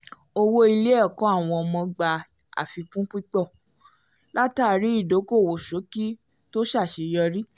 owó ilé-ẹ̀kọ́ àwọn ọmọ gbà àfikún púpọ̀ látàrí ìdókòòwò ṣọ́ọ̀kì tó ṣàṣeyọrí